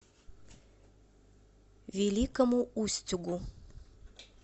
великому устюгу